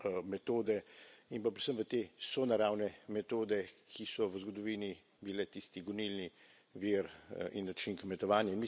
metode in pa predvsem v te sonaravne metode, ki so v zgodovini bile tisti gonilni vir in način kmetovanja.